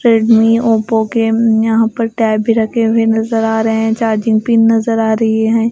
Redmi Oppo के यहाँ पर टैब भी रखे हुए नजर आ रहे हैं चार्जिंग पिन नजर आ रही है।